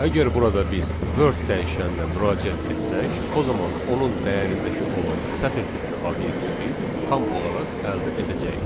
Əgər burada biz Word dəyişəninə müraciət etsək, o zaman onun dəyərindəki olan sətir tipli obyekti biz tam olaraq əldə edəcəyik.